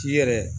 K'i yɛrɛ